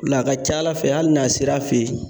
La a ka ca ala fɛ ali n'a sera a fe yen